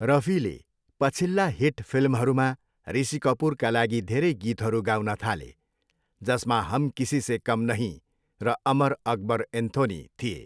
रफीले पछिल्ला हिट फिल्महरूमा ऋषि कपूरका लागि धेरै गीतहरू गाउन थाले, जसमा हम किसीसे कम नहीं र अमर अकबर एन्थोनी थिए।